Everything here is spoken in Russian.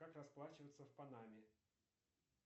как расплачиваться в панаме